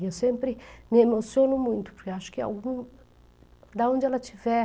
E eu sempre me emociono muito, porque acho que algum... De onde ela estiver...